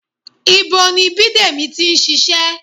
Ibo ni Bidemi ti ń ṣiṣẹ́?